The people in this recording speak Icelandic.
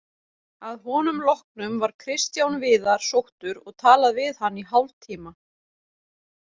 Að honum loknum var Kristján Viðar sóttur og talað við hann í hálftíma.